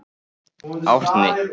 Árni